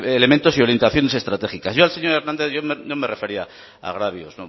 elementos y orientaciones estratégicas yo al señor hernández no me refería a agravios